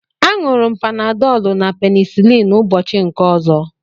A ñuru m Panadolu na penicilin ụbọchị nke ọzọ